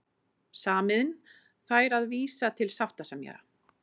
Samiðn fær að vísa til sáttasemjara